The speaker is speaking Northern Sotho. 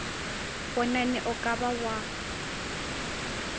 bonane o ka ba wa